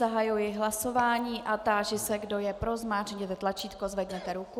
Zahajuji hlasování a táži se, kdo je pro, zmáčkněte tlačítko, zvedněte ruku.